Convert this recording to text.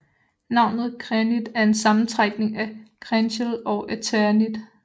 Navnet Krenit er en sammentrækning af Krenchel og eternit